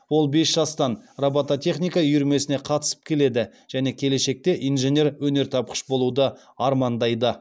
ол бес жастан робототехника үйірмесіне қатысып келеді және келешекте инженер өнертапқыш болуды армандайды